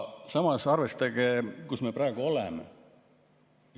Samas arvestage, kus me praegu oleme.